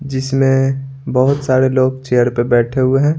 जिसमें बहुत सारे लोग चेयर पर बैठे हुए हैं।